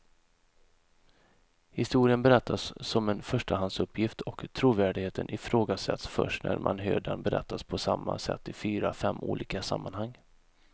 Historien berättas som en förstahandsuppgift och trovärdigheten ifrågasätts först när man hör den berättas på samma sätt i fyra, fem olika sammanhang.